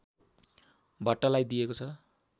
भट्टलाई दिएको छ